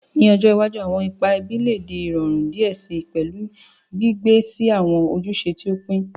Ni ojo iwaju, awọn ipa ẹbi le di irọrun diẹ sii, pẹlu gbigbe si awọn ojuse ti o pin.